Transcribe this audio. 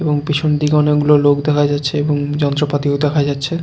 এবং পেছনদিকে অনেক গুলো লোক দেখা যাচ্ছে এবং যন্ত্রপাতিও দেখা যাচ্ছে ।